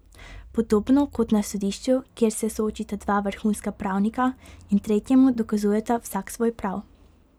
Podobno kot na sodišču, kjer se soočita dva vrhunska pravnika in tretjemu dokazujeta vsak svoj prav.